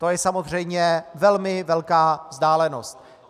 To je samozřejmě velmi velká vzdálenost.